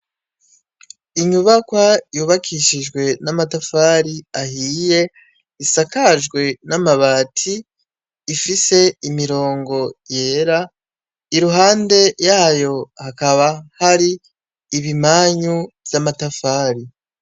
Inyubakwa yubakishijwe n'amatafari ahiye isakajwe n'amabati, ifise imirongo yera, iruhande yayo hakaba hari ibimanyu vy'amatafari.